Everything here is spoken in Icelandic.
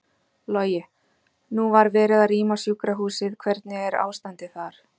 Logi: Nú var verið að rýma sjúkrahúsið, hvernig er ástandið þar?